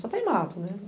Só tem mato, né?